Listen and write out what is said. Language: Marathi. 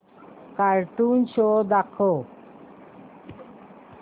कार्टून शो दाखव